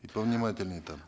и повнимательнее там